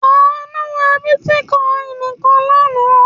Àánú ra bítíkọ́ìn kan lánàá.